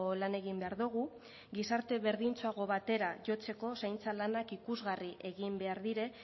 lan egin behar dugu gizarte berdintsuago batera jotzeko zaintza lanak ikusgarri egin behar dira